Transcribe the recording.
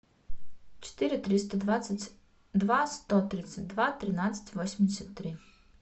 четыре триста двадцать два сто тридцать два тринадцать восемьдесят три